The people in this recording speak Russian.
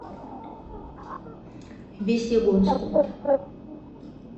весьегонску